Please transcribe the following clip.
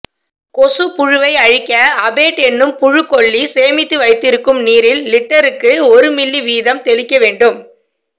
கொசுப்புழுவை அழிக்க அபேட் எனும் புழுக்கொல்லி சேமித்து வைத்திருக்கும் நீரில் லிட்டருக்கு ஒரு மில்லி வீதம் தெளிக்கவேண்டும்